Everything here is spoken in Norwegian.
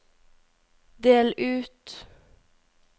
del ut